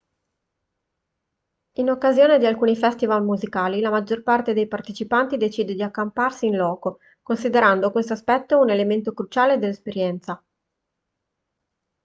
in occasione di alcuni festival musicali la maggior parte dei partecipanti decide di accamparsi in loco considerando questo aspetto un elemento cruciale dell'esperienza